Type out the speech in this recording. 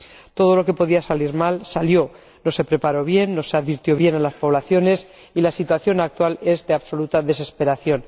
Todo lo que podía salir mal, salió mal. No se preparó bien, no se advirtió bien a las poblaciones y la situación actual es de absoluta desesperación.